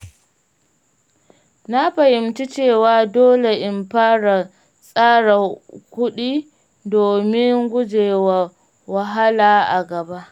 Na fahimci cewa dole in fara tsara kudi domin gujewa wahala a gaba.